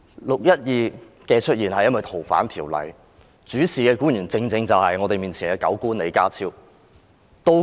"六一二"事件的出現是因為修訂《逃犯條例》，主事的官員正正是我們面前的"狗官"李家超。